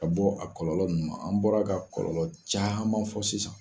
Ka bɔ a kɔlɔlɔ mun ma an bɔra ka kɔlɔlɔ caman fɔ sisan.